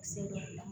Seli la